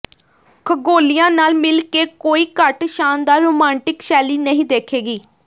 ਖਗੋਲਿਆਂ ਨਾਲ ਮਿਲ ਕੇ ਕੋਈ ਘੱਟ ਸ਼ਾਨਦਾਰ ਰੁਮਾਂਟਿਕ ਸ਼ੈਲੀ ਨਹੀਂ ਦੇਖੇਗੀ